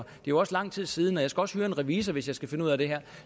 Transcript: jo også lang tid siden og jeg skal også høre en revisor hvis jeg skal finde ud af det her